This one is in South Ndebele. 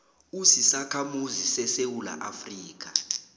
usisakhamuzi sesewula afrika